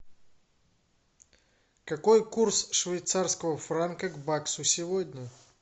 какой курс швейцарского франка к баксу сегодня